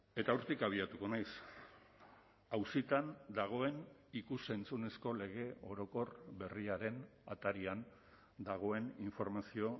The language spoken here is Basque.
eta hortik abiatuko naiz auzitan dagoen ikus entzunezko lege orokor berriaren atarian dagoen informazio